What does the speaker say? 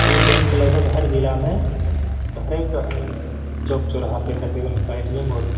यह बैंक लगभग हर जिला में हरेक चौक चोरह पर तकरीबन इसका ए.टी.एम और --